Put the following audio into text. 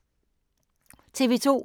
TV 2